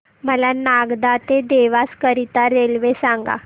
मला नागदा ते देवास करीता रेल्वे सांगा